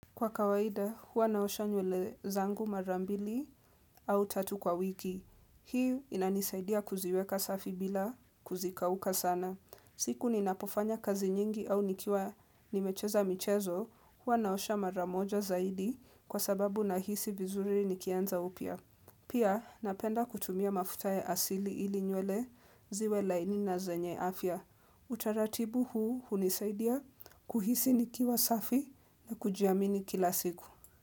Kwa kawaida, huwa naosha nywele zangu marambili au tatu kwa wiki. Hii inanisaidia kuziweka safi bila kuzikauka sana. Siku ni napofanya kazi nyingi au nikiwa nimecheza michezo, huwa naosha maramoja zaidi kwa sababu na hisi vizuri nikianza upya. Pia, napenda kutumia mafuta ya asili ili nywele ziwe laini na zenye afya. Utaratibu huu unisaidia kuhisi nikiwa safi na kujiamini kila siku.